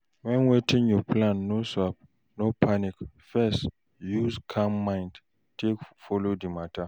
When wetin you no plan sup, no panic first, use calm mind take follow di matter